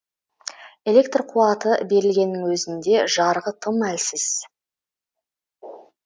электр қуаты берілгеннің өзінде жарығы тым әлсіз